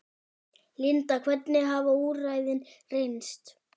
Linda, hvernig hafa úrræðin reynst?